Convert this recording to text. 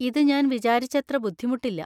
ഇത് ഞാൻ വിചാരിച്ചത്ര ബുദ്ധിമുട്ടില്ല.